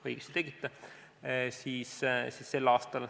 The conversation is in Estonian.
Õigesti tegite!